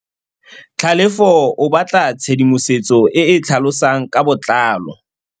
Tlhalefô o batla tshedimosetsô e e tlhalosang ka botlalô.